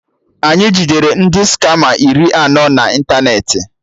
Anyị jidere ndị skama iri no na ịntanetị